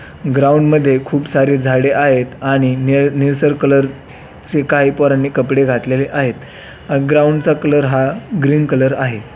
Ground मध्ये खूप सारे झाडे आहेत आणि निळ निळसर कलर चे काही पोरांनी कपडे घातलेले आहेत ग्राऊंडचा कलर हा ग्रीन कलर आहे.